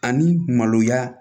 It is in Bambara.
Ani maloya